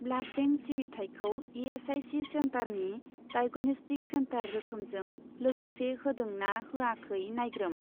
Blood bank सिबिथायखौ ESIC. सेन्टारनि diagnostic centre रोखोमजों लोगोसे होदों ना होयाखै नायग्रोम।